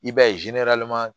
I b'a ye